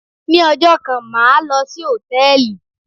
Ni ọjọ́ kan, màá lò sí Hòtẹ́lìì.